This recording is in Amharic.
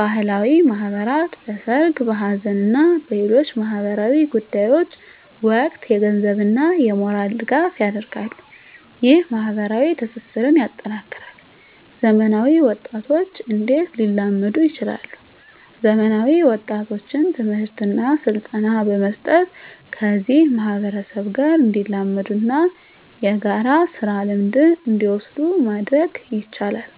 ባህላዊ ማህበራት በሠርግ፣ በሐዘን እና በሌሎች ማኅበራዊ ጉዳዮች ወቅት የገንዘብና የሞራል ድጋፍ ያደርጋሉ። ይህ ማኅበራዊ ትስስርን ያጠናክራል። *ዘመናዊ ወጣቶች እንዴት ሊላመዱ ይችላሉ፤ ዘመናዊ ወጣቶችን ትምህርትና ስልጠና በመስጠት ከዚህ ማህበረሰብ ጋር እንዲላመዱና የጋራ ስራ ልምድን እንዲወስዱ ማድረግ ይቻላል።